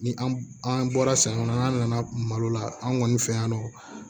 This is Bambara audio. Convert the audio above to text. Ni an bɔra san kɔnɔ n'an nana malo la an kɔni fɛ yan nɔ